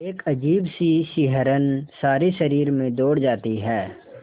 एक अजीब सी सिहरन सारे शरीर में दौड़ जाती है